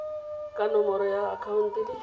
ka nomoro ya akhaonto le